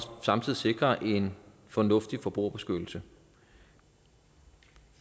samtidig sikrer en fornuftig forbrugerbeskyttelse